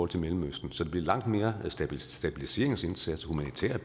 til mellemøsten så det bliver langt mere en stabiliseringsindsats humanitær